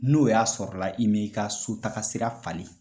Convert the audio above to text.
N'o y'a sɔrɔ la, i m'i ka so sira falen.